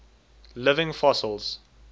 living fossils